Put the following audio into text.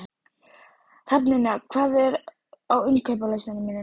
Hrafnynja, hvað er á innkaupalistanum mínum?